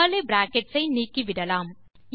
curly brackets ஐ நீக்கிவிடலாம்